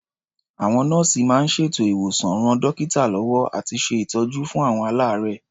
Àwọn nọ́ọ̀sì máa ń ṣètò ìwòsàn, ran dọ́kítà lọ́wọ́ àti ṣe ìtọ́jú fún àwọn aláàárẹ̀.